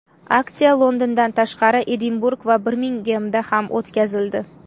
Aksiya Londondan tashqari, Edinburg va Birmingemda ham o‘tkazildi.